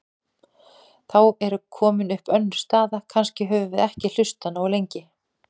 Þá er komin upp önnur staða: Kannski höfum við ekki hlustað nógu lengi.